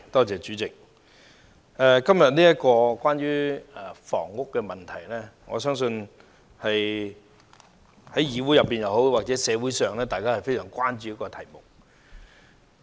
主席，今天討論的房屋問題，我相信是議會或社會非常關注的題目。